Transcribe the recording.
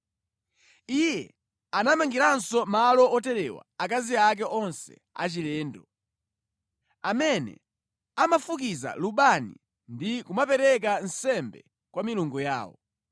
Iye anamangiranso malo oterewa akazi ake onse achilendo, amene amafukiza lubani ndi kumapereka nsembe kwa milungu yawo.